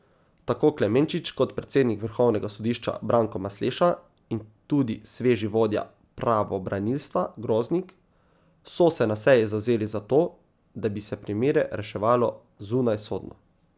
Tako Klemenčič kot predsednik vrhovnega sodišča Branko Masleša in tudi sveži vodja pravobranilstva Groznik so se na seji zavzeli za to, da bi se primere reševalo zunajsodno.